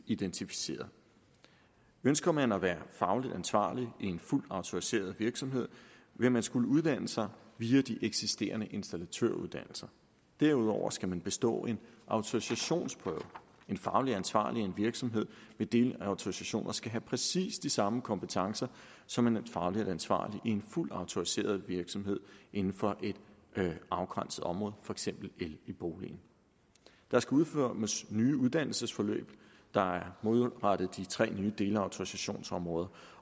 identificeret ønsker man at være fagligt ansvarlig i en fuldt autoriseret virksomhed vil man skulle uddanne sig via de eksisterende installatøruddannelser derudover skal man bestå en autorisationsprøve en fagligt ansvarlig i en virksomhed med delautorisationer skal have præcis de samme kompetencer som en fagligt ansvarlig i en fuldt autoriseret virksomhed inden for et afgrænset område for eksempel el i boligen der skal udformes nye uddannelsesforløb der er målrettet de tre nye delautorisationsområder